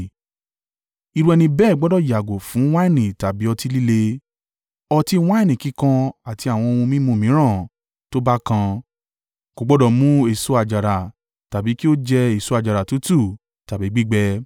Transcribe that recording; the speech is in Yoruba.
irú ẹni bẹ́ẹ̀ gbọdọ̀ yàgò fún wáìnì tàbí ọtí líle, ọtí wáìnì kíkan àti àwọn ohun mímu mìíràn tó bá kan. Kò gbọdọ̀ mu èso àjàrà tàbí kí ó jẹ èso àjàrà tútù tàbí gbígbẹ.